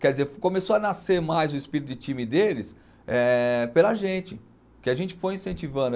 Quer dizer, começou a nascer mais o espírito de time deles eh pela gente, que a gente foi incentivando.